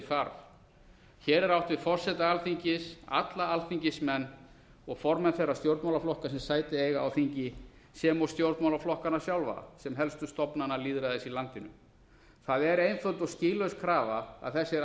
þarf hér er átt við forseta alþingis alla alþingismenn og formenn þeirra stjórnmálaflokka sem sæti eiga á þingi sem og stjórnmálaflokkana sjálfa sem helstu stofnana lýðræðis í landinu það er einföld og skýlaus krafa að þessir